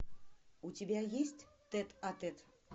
у тебя есть тет а тет